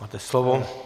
Máte slovo.